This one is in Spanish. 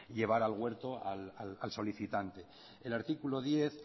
llevar al huerto al solicitante el artículo diez